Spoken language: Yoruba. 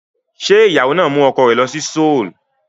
Ṣé ìyàwó náà mú ọkọ rẹ̀ lọ sí Seoul?